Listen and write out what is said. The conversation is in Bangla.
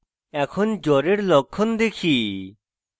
এখন জ্বরের লক্ষণ দেখি: